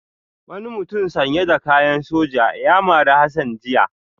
Wani mutum sanye da kayan soja ya mari Hassan jiya